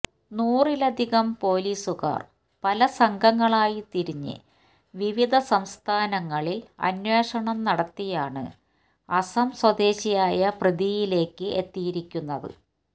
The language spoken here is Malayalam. നൂറിലധികം പോലീസുകാര് പല സംഘങ്ങളായി തിരിഞ്ഞ് വിവിധ സംസ്ഥാനങ്ങളില് അന്വേഷണം നടത്തിയാണ് അസം സ്വദേശിയായ പ്രതിയിലേക്ക് എത്തിയിരിക്കുന്നത്